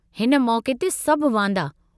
हिन मौके त सभु वांदा।